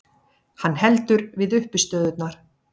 Hann heldur við uppistöðurnar.